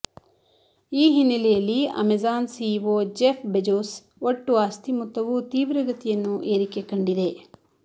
ಈ ಹಿನ್ನಲೆಯಲ್ಲಿ Amazon CEO Jeff Bezos ಒಟ್ಟು ಆಸ್ತಿ ಮೊತ್ತವೂ ತೀವ್ರಗತಿಯನ್ನು ಏರಿಕೆಯನ್ನು ಕಂಡಿದೆ